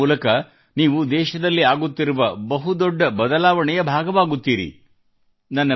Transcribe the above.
ಹೀಗೆ ಮಾಡುವ ಮೂಲಕ ನೀವು ದೇಶದಲ್ಲಾಗುತ್ತಿರುವ ಬಹುದೊಡ್ಡ ಬದಲಾವಣೆಯ ಭಾಗವಾಗುತ್ತೀರಿ